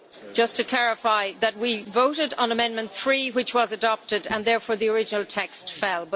Just to clarify that we voted on amendment 3, which was adopted, and therefore the original text fell.